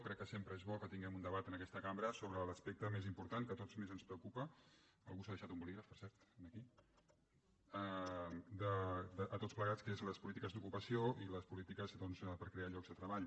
crec que sempre és bo que tinguem un debat en aquesta cambra sobre l’aspecte més important que a tots més ens preocupa algú s’ha deixat un bolígraf per cert aquí a tots plegats que són les polítiques d’ocupació i les polítiques doncs per a crear llocs de treball